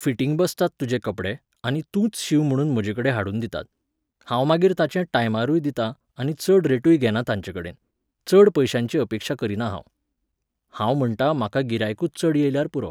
Fitting बसतात तुजे कपडे आनी तूंच शींव म्हूण म्हजेकडेन हाडून दितात. हांव मागीर तांचे टायमारूय दितां आनी चड रेटूय घेना तांचेकडेन, चड पयश्यांची अपेक्षा करिना हांव. हांव म्हणटा म्हाका गिरायकूच चड येयल्यार पुरो